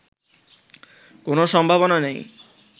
কোনো সম্ভাবনা নেই